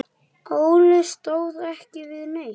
Óli stóð ekki við neitt.